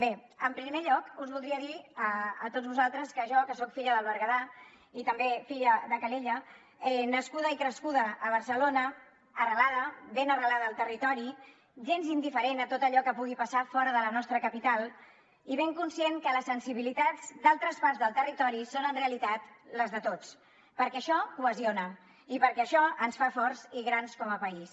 bé en primer lloc us voldria dir a tots vosaltres que jo soc filla del berguedà i també filla de calella nascuda i crescuda a barcelona arrelada ben arrelada al territori gens indiferent a tot allò que pugui passar fora de la nostra capital i ben conscient que les sensibilitats d’altres parts del territori són en realitat les de tots perquè això cohesiona i perquè això ens fa forts i grans com a país